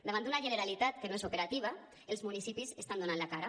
davant d’una generalitat que no és operativa els municipis estan donant la cara